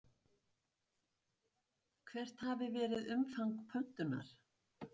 Hvert hafi verið umfang pöntunar?